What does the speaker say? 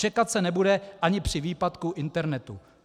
Čekat se nebude ani při výpadku internetu.